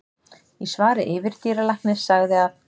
Í svari yfirdýralæknis sagði að